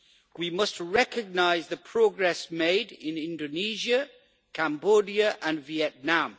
We must recognise the progress made in Indonesia, Cambodia and Vietnam.